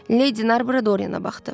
Lady Narbora Dorianə baxdı.